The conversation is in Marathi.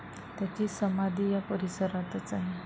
त्यांची समाधी या परिसरातच आहे.